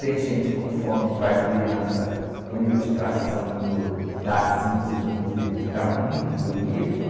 Tem gente com fome para criança, com ilustração do, da e do, que está muito bonito.